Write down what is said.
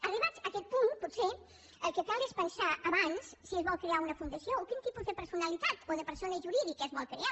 arribats a aquest punt potser el que cal és pensar abans si es vol crear una fundació o quin tipus de per·sonalitat o de persona jurídica es vol crear